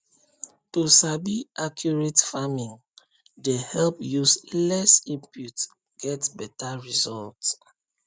to sabi accurate farming dey help use less input get beta result